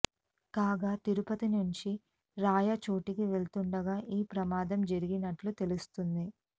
కాగా తిరుపతి నుంచి రాయచోటికి వెళ్తుండగా ఈ ప్రమాదం జరిగినట్లు తెలుస్తుంది